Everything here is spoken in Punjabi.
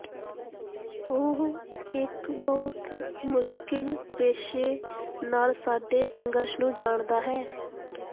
ਉਹ ਇਕ ਬਹੁਤ ਮੁਸ਼ਕਿਲ ਪੇਸ਼ੇ ਨਾਲ ਸਾਡੇ ਸੰਘਰਸ਼ ਨੂੰ ਜਾਣਦਾ ਹੈ